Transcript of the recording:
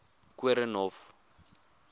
koornhof